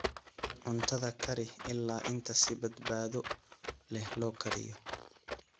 Cuntada kari ilaa inta si badbaado leh loo kariyo.